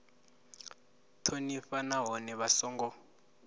u thonifha nahone vha songo